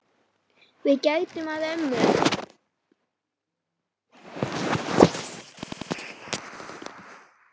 Við gætum að ömmu.